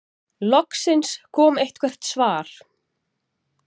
Loksins kom eitthvert svar.